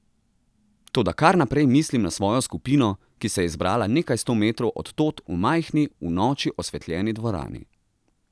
Toda kar naprej mislim na svojo skupino, ki se je zbrala nekaj sto metrov od tod, v majhni, v noči osvetljeni dvorani.